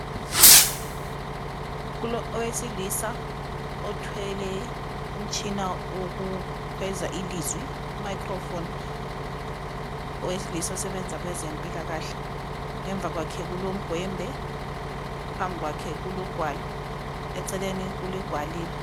Kulowesilisa othwele umtshina owokukhweza ilizwi (microphone). Owesilisa osebenza kwezempilakahle. Ngemva kwakhe kulomgwembe , phambi kwakhe kulogwalo, eceleni kwakhe kulegwaliba.